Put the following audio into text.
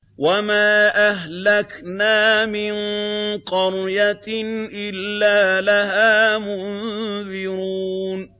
وَمَا أَهْلَكْنَا مِن قَرْيَةٍ إِلَّا لَهَا مُنذِرُونَ